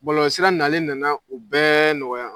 Bɔlɔlɔsira nalen na na u bɛɛ nɔgɔya.